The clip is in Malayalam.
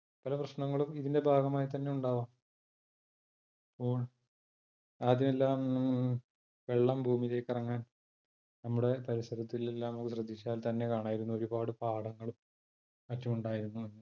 പല പ്രശ്നങ്ങളും ഇതിന്റെ ഭാഗമായി തന്നെ ഉണ്ടാവാം ബൂം ആദ്യമെല്ലാം വെള്ളം ഭൂമിയിലേക്ക് ഇറങ്ങാൻ നമ്മുടെ പരിസരത്തിലെല്ലാം നമ്മൾ ശ്രദ്ദിച്ചാൽ തന്നെ കാണായിരുന്നു. ഒരുപാട് പാടങ്ങളും മറ്റുമുണ്ടായിരുന്നു.